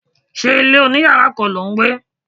Ṣé ilé oní yàrá kan lò ń gbé?